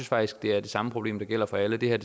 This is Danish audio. faktisk det er det samme problem der gælder for alle det her